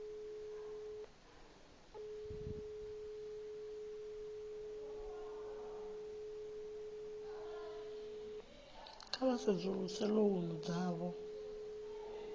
kha vha sedzuluse lounu dzothe